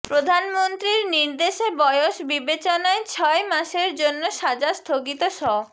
প্রধানমন্ত্রীর নির্দেশে বয়স বিবেচনায় ছয় মাসের জন্য সাজা স্থগিত ষ